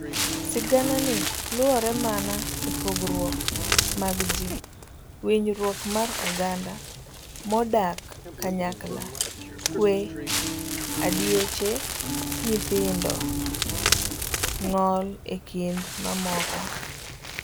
Siganani luorre mana epogruok mag ji, winjruok mar oganda modak kanyakla, kwe, adiech nyithindo, ng'ol ekind mamoko.